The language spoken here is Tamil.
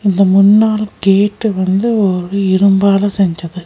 இந்த முன்னாள் கேட்டு வந்து ஒரு இரும்பால செஞ்சது.